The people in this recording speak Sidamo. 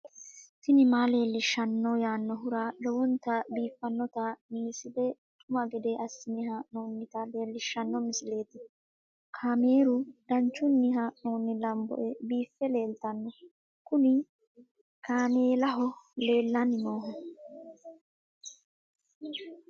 tini maa leelishshanno yaannohura lowonta biiffanota misile xuma gede assine haa'noonnita leellishshanno misileeti kaameru danchunni haa'noonni lamboe biiffe leeeltanno kuni kaamellaho lellanni nohu